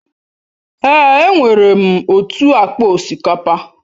Èè, enwere m otu akpa osikapa.